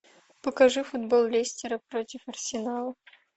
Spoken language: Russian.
покажи футбол лестера против арсенала